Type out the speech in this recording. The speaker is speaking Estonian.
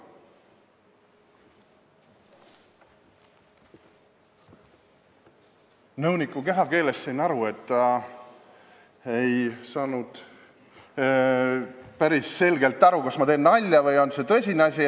Nõuniku kehakeelest sain ma aru, et ta ei saanud päris hästi aru, kas ma teen nalja või on see tõsine ettepanek.